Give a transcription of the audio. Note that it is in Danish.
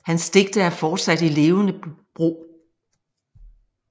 Hans digte er fortsat i levende brug